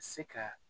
Se ka